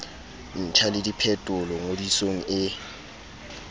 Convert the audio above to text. ntjha le diphetolo ngodisong e